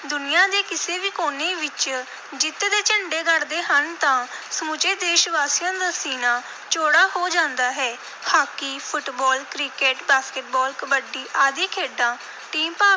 ਦੁਨੀਆ ਦੇ ਕਿਸੇ ਵੀ ਕੋਨੇ ਵਿਚ ਜਿੱਤ ਦੇ ਝੰਡੇ ਗੱਡਦੇ ਹਨ ਤਾਂ ਸਮੁੱਚੇ ਦੇਸ਼-ਵਾਸੀਆਂ ਦਾ ਸੀਨਾ ਚੌੜਾ ਹੋ ਜਾਂਦਾ ਹੈ। Hockey, football, cricket, basketball, kabaddi ਆਦਿ ਖੇਡਾਂ team ਭਾਵ